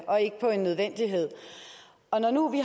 og ikke på en nødvendighed og når nu vi